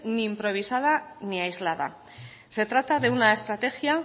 ni improvisada ni aislada se trata de una estrategia